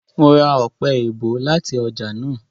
Mo ra ọpẹ-èèbó láti ọjà náà